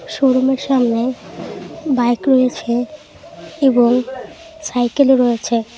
শোরুমের সামনে বাইক রয়েছে এবং সাইকেলও রয়েছে।